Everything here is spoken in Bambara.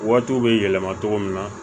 Waatiw bɛ yɛlɛma cogo min na